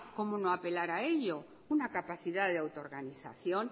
cómo no apelar a ello una capacidad de autoorganización